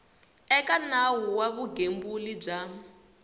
eka nawu wa vugembuli bya